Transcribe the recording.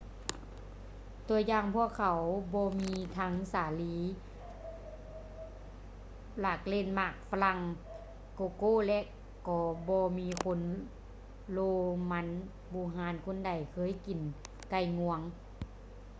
ຕົວຢ່າງ ພວກເຂົາບໍ່ມີທັງສາລີ ຫຼາກເລັ່ນ ມັນຝຼັ່ງ ໂກໂກ້ ແລະ ກໍບໍ່ມີຄົນໂລມັນບູຮານຄົນໃດເຄີຍກິນໄກ່ງວງ